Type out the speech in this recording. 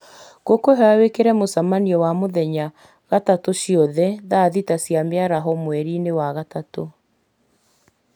ngũkwĩhoya wĩkĩre mũcemanio wa mũthenya gatatũ -inĩ ciothe thaa thita cia mĩaraho mweri-inĩ wa gatatũ